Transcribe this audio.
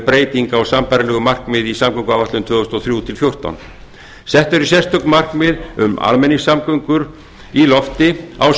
breyting á sambærilegu markmiði í samgönguáætlun tvö þúsund og þrjú til tvö þúsund og fjórtán sett eru sérstök markmið um almenningssamgöngur í lofti á